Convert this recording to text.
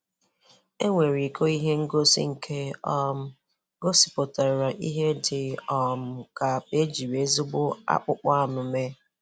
Enwere iko ihe ngosi nke um gosipụtara ihe dị um ka akpa ejiri ezigbo akpụkpọ anụ mee.